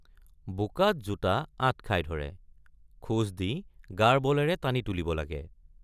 বোকাত জোতা আঁট খাই ধৰে খোজ দি গাৰ বলেৰে টানি তুলিব লাগে।